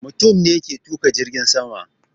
Mutum ne ke tuƙa jirgin sama